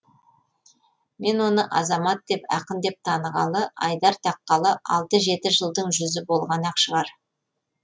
мен оны азамат деп ақын деп танығалы айдар таққалы алты жеті жылдың жүзі болған ақ шығар